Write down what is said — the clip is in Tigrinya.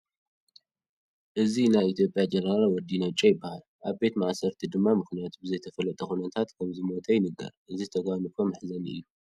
እዚ ናይ ኢትዮጵያ ጀነራል ወዲ ነጮ ይበሃል፡፡ ኣብ ቤት ማእሰርቲ ድማ ምኽንያቱ ብዘይተፈለጠ ኩነታት ከምዝሞተ ይንገር፡፡ እዚ ተጓንፎ መሕዘኒ እዩ፡፡